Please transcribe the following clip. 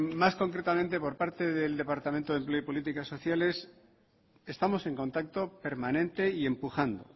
más concretamente por parte del departamento de empleo y políticas sociales estamos en contacto permanente y empujando